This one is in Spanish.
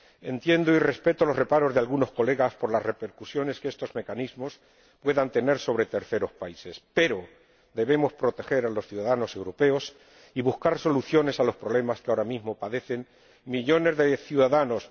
Entiendo y respeto los reparos de algunos colegas por las repercusiones que estos mecanismos puedan tener sobre terceros países, pero debemos proteger a los ciudadanos europeos y buscar soluciones a los problemas que ahora mismo padecen millones de ciudadanos.